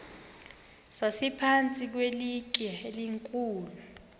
sasiphantsi kwelitye elikhulu